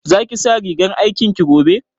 Za ki sa rigar aikin ki gobe?